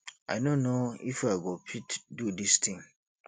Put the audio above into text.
i no know if i go fit do dis thing